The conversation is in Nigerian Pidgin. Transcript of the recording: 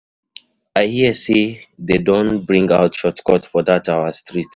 I hear say dey don bring out short cut for dat our street.